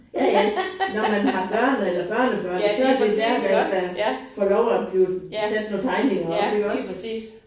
Ja ja når man har børn eller børnebørn så det særligt at få lov at blive sat nogle tegninger op iggås